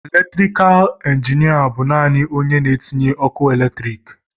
Elektrikal injinịa bụ naanị onye na-etinye ọkụ eletriki.